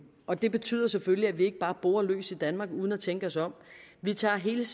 og det betyder selvfølgelig at vi ikke bare borer løs i danmark uden at tænke os om vi tager hele